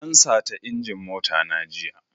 An sata injin mota na jiya.